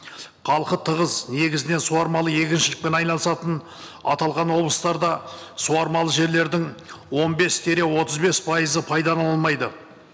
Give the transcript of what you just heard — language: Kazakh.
халқы тығыз негізінен суармалы егіншілікпен айналысатын аталған облыстарда суармалы жерлердің он бес тире отыз бес пайызы пайдалынылмайды